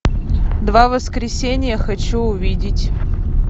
два воскресенья хочу увидеть